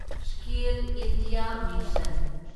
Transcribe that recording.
skill India mission